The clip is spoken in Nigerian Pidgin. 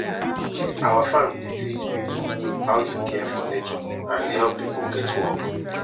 our farm dey teach people how to care for nature and help people get work